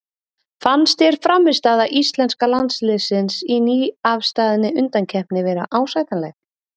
Fannst þér frammistaða íslenska landsliðsins í nýafstaðni undankeppni vera ásættanleg?